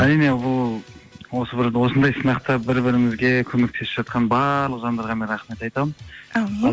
әрине бұл осы бір осындай сынақта бір бірімізге көмектесіп жатқан барлық жандарға мен рахмет айтамын әумин